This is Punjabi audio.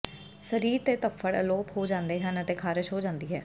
ਸਰੀਰ ਤੇ ਧੱਫੜ ਅਲੋਪ ਹੋ ਜਾਂਦੇ ਹਨ ਅਤੇ ਖਾਰਸ਼ ਹੋ ਜਾਂਦੀ ਹੈ